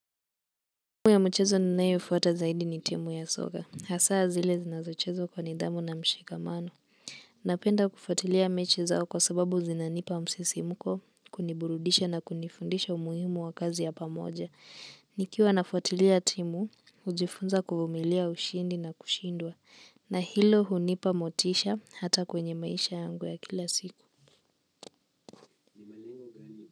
Timu ya mchezo ninayoifuata zaidi ni timu ya soka. Hasaa zile zinazochezwa kwa nidhamu na mshikamano. Napenda kufatilia mechi zao kwa sababu zinanipa msisimko, kuniburudisha na kunifundisha umuhimu wa kazi ya pamoja. Nikiwa nafuatilia timu, hujifunza kuvumilia ushindi na kushindwa. Na hilo hunipa motisha hata kwenye maisha yangu ya kila siku.